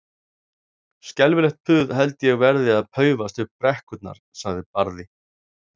Skelfilegt puð held ég verði að paufast upp brekkurnar, sagði Barði.